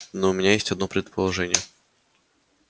но у меня есть одно предположение